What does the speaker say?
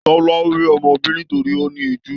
Tọlá ò rí ọmọ bí nítorí ó ní ìjú.